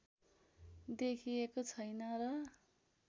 देखिएको छैन र